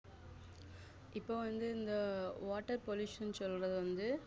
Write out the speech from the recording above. இப்போ வந்து இந்த வாட்டர் pollution சொல்லறது வந்து